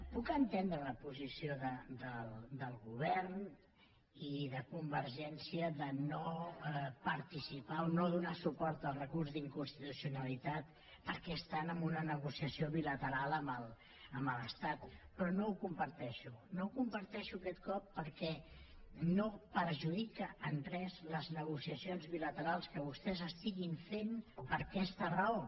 puc entendre la posició del govern i de convergència de no participar o no donar suport al recurs d’inconstitucionalitat perquè estan en una negociació bilateral amb l’estat però no ho comparteixo no ho comparteixo aquest cop perquè no perjudica en res les negociacions bilaterals que vostès estiguin fent per aquesta raó